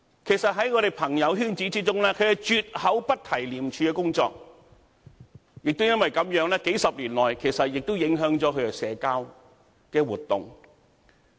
其實，在我們的朋友圈子中，他們絕口不提廉署的工作，亦因為這樣，數十年來亦影響了他們的社交活動。